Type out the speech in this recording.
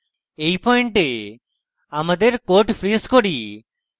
at পয়েন্টে আমাদের code freeze করি